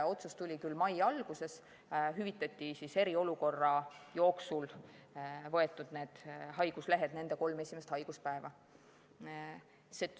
Otsus tuli küll mai alguses, siis hüvitati eriolukorra jooksul võetud haiguslehtede puhul kolm esimest haiguspäeva.